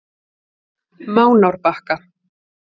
Mánárbakka